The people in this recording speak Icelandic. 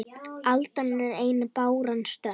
Aldan er ein báran stök